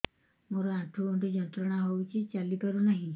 ମୋରୋ ଆଣ୍ଠୁଗଣ୍ଠି ଯନ୍ତ୍ରଣା ହଉଚି ଚାଲିପାରୁନାହିଁ